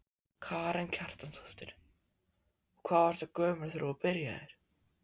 Karen Kjartansdóttir: Og hvað varstu gömul þegar þú byrjaðir?